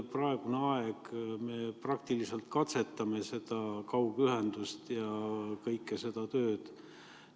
Praegusel ajal me praktiliselt katsetame seda kaugühendust ja kogu seda tööd.